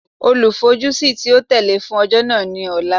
Olufojusi ti o tẹle fun ọjọ naa ni Ọla